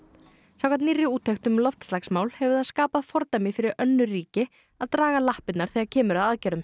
samkvæmt nýrri úttekt um loftslagsmál hefur það skapað fordæmi fyrir önnur ríki að draga lappirnar þegar kemur að aðgerðum